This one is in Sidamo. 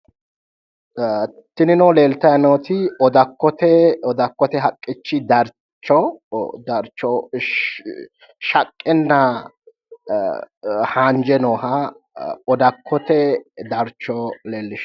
Tinino leeltayi nooti odakkote odakkote haqqi darcho shaqqenna haanje nooha odakkote darcho leellishshanno